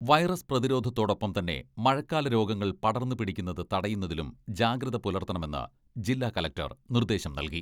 Virus പ്രതിരോധത്തോടൊപ്പം തന്നെ മഴക്കാല രോഗങ്ങൾ പടർന്ന് പിടിക്കുന്നത് തടയുന്നതിലും ജാഗ്രത പുലർത്തണമെന്ന് ജില്ലാകളക്ടർ നിർദ്ദേശം നൽകി.